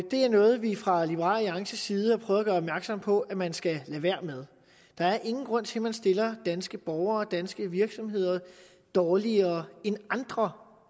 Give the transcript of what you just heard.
det er noget vi fra liberal alliances side har prøvet at gøre opmærksom på at man skal lade være med der er ingen grund til at man stiller danske borgere og danske virksomheder dårligere end andre